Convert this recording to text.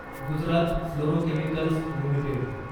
Gujarat fluorochemicals limited